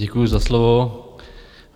Děkuji za slovo.